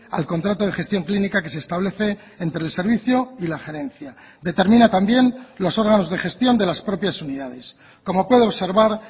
al contrato de gestión clínica que se establece entre el servicio y la gerencia determina también los órganos de gestión de las propias unidades como puede observar